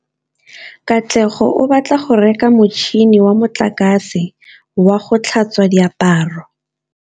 Katlego o batla go reka motšhine wa motlakase wa go tlhatswa diaparo.